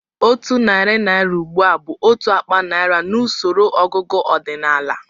Otu narị naira ugbu a bụ otu akpa naira n'usoro ọgụgụ ọdịnala